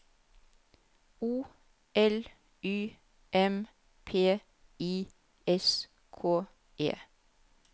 O L Y M P I S K E